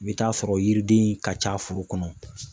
I bɛ taa sɔrɔ yiriden in ka ca foro kɔnɔ.